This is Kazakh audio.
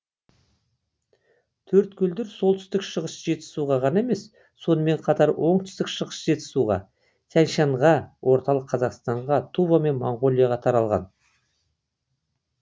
төрткөлдер солтүстік шығыс жетісуға ғана емес сонымен қатар оңтүстік шығыс жетісуға тянь шаньға орталық қазақстанға тува мен моңғолияға таралған